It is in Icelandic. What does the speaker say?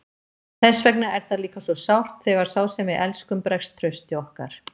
Þess vegna er það líka svo sárt þegar sá sem við elskum bregst trausti okkar.